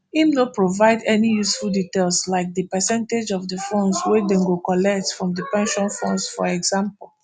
im no provide any useful details like di percentage of di funds wey dem go collect from di pension funds for example